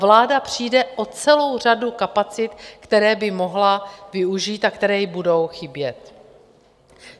Vláda přijde o celou řadu kapacit, které by mohla využít a které jí budou chybět.